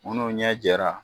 Munnu ɲɛ jɛra